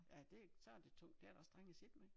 Ja det så det tungt det er da også strengt at sidde med